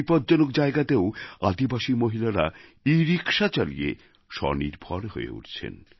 বিপজ্জনক জায়গাতেও আদিবাসী মহিলারা ইরিক্সা চালিয়ে স্বনির্ভর হয়ে উঠছেন